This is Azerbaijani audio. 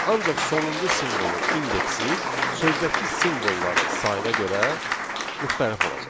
Ancaq sonuncu simvolun indeksi sözdəki simvolları sayına görə müxtəlifdir.